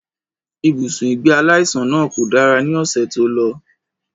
Ibùsùn ìgbé aláìsàn náà kò dára ní ọ̀sẹ̀ tó lọ